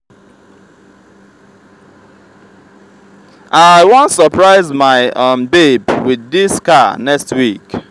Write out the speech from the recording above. i wan surprise my um babe with dis car next week